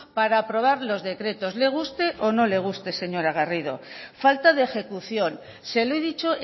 para aprobar los decretos le guste o no le guste señora garrido falta de ejecución se lo he dicho